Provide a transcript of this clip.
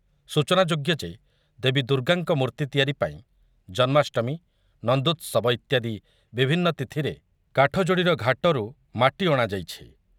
ସୂଚନାଯୋଗ୍ୟ ଯେ ଦେବୀ ଦୁର୍ଗାଙ୍କ ମୂର୍ତ୍ତି ତିଆରି ପାଇଁ ଜନ୍ମାଷ୍ଟମୀ, ନନ୍ଦୋତ୍ସବ ଇତ୍ୟାଦି ବିଭିନ୍ନ ତିଥିରେ କାଠଯୋଡ଼ିର ଘାଟରୁ ମାଟି ଅଣାଯାଇଛି ।